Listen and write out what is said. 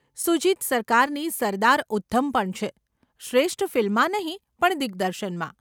સુજીત સરકારની 'સરદાર ઉધ્ધમ' પણ છે, શ્રેષ્ઠ ફિલ્મમાં નહીં પણ દિગ્દર્શનમાં.